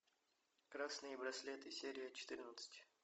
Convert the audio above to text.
красные браслеты серия четырнадцать